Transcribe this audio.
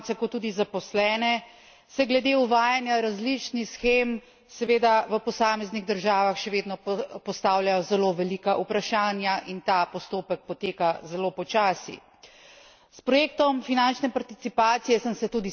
Kljub temu, da je to dobra priložnost tako za delodajalce kot tudi zaposlene, se glede uvajanja različnih shem seveda v posameznih državah še vedno postavljajo zelo velika vprašanja in ta postopek poteka zelo počasi.